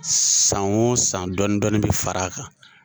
San o san dɔɔni dɔɔni bɛ far'a kan.